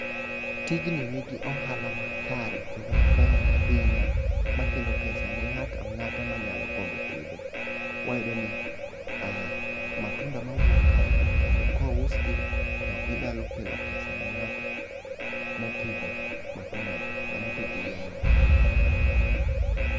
Tijni nigi ohala makare kendo maber ahinya makelo pesa ne ng'ata ng'ata manyalo gombo pidhe. Wayudo ni matunda mawuok kae gi kendo kousgi to ginyalo kelo pesa ne ng'ato mopidho matunda ni ng'amo pidho yien ni.